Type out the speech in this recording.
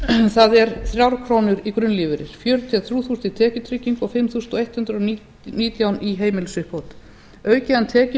það er þrjár krónur í grunnlífeyri fjörutíu og þrjú þúsund í tekjutryggingu og fimm þúsund hundrað og nítján í heimilisuppbót auki hann tekjur